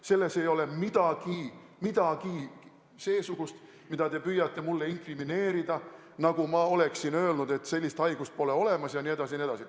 Selles ei ole midagi seesugust, mida te püüate mulle inkrimineerida, nagu ma oleksin öelnud, et sellist haigust pole olemas, jne, jne.